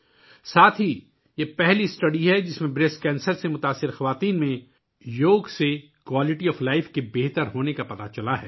اس کے علاوہ، یہ پہلا مطالعہ ہے، جس میں چھاتی کے کینسر سے متاثرہ خواتین کے معیار زندگی کو بہتر کرنے کے لیے یوگا کو اپنایا گیا ہے